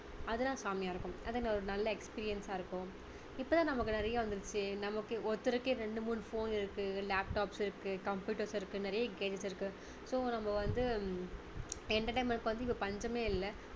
அதெல்லாம் செம்மையா இருக்கும் அதுல ஒரு நல்ல experience சா இருக்கும் இப்போ தான் நமக்கு நிறைய வந்திடுச்சு நமக்கு ஒருத்தருக்கே ரெண்டு மூணு phone இருக்கு laptops இருக்கு computers இருக்கு நிறைய gadgets இருக்கு so நம்ம வந்து entertainment க்கு வந்து இப்போ பஞ்சமே இல்ல